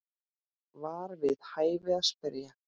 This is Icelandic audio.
var við hæfi að spyrja.